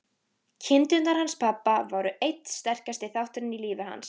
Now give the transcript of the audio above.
Kindurnar hans pabba voru einn sterkasti þátturinn í lífi hans.